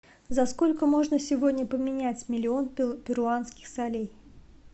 за сколько можно сегодня поменять миллион перуанских солей